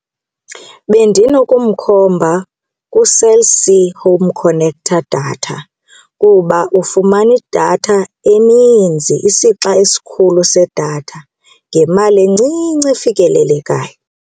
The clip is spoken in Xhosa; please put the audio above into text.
Bendinokumkhomba kuCell C Home Connecta data kuba ufumana idatha eninzi isixa esikhulu sedatha ngemali encinci efikelelekayo.